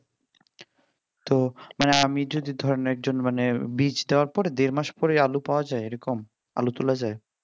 তো আমি যদি ধরেন একজন মানে বীজ দেওয়ার পরে দেড় মাস পরে আলু পাওয়া যায় এরকম আলু তোলা যায়